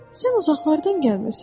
Sən uzaqlardan gəlmisən.